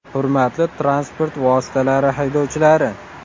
Hurmatli transport vositalari haydovchilari!